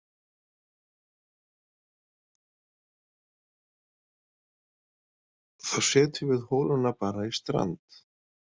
Þá setjum við holuna bara í stand!